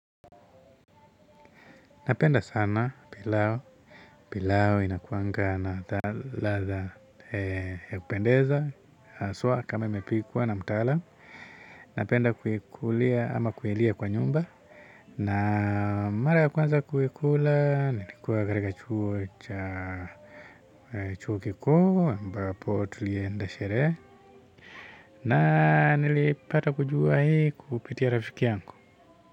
Napenda sana pilau, pilau inakuanga na ladha ya kupendeza, haswa kama imepikwa na mtaalam, napenda kuikulia ama kuilia kwa nyumba, na mara ya kwanza kuikula, nilikuwa katika chuo cha chuo kikuu, ambapo tulienda sherehe, na nilipata kujua hii kupitia rafiki yangu.